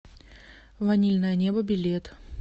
ванильное небо билет